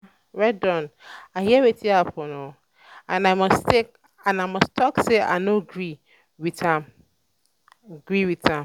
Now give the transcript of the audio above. ada well don i hear wetin happen and i must talk say i no agree with am agree with am